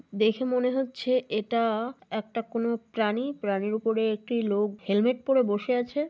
দেখে মনে হচ্ছে এটা একটা কোনো প্রাণী। প্রাণীর উপরে একটা লোক হেলমেট পরে বসে আছে।